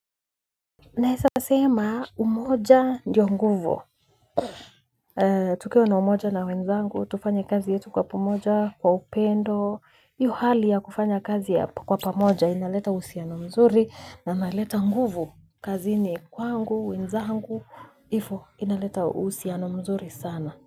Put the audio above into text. Naeza sema umoja ndio nguvu. Tukio na umoja na wenzangu tufanye kazi yetu kwa pamoja kwa upendo. Hiyo hali ya kufanya kazi ya kwa pamoja inaleta uhusiano mzuri na inaleta nguvu kazini kwangu wenzangu hivyoo inaleta uhusinoa mzuri sana.